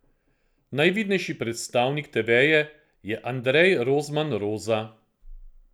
Najvidnejši predstavnik te veje je Andrej Rozman Roza.